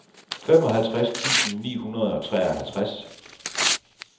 femoghalvtreds tusind ni hundrede og treoghalvtreds